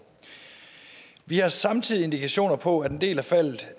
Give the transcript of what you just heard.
vi har samtidig indikationer på at en del af faldet